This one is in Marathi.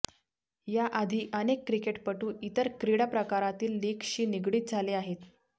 याआधी अनेक क्रिकेटपटू इतर क्रीडा प्रकारातील लीगशी निगडित झाले आहेत